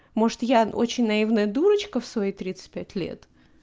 может я очень наивная дурочка в свои тридцать пять лет